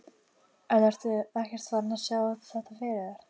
En ertu ekkert farinn að sjá þetta fyrir þér?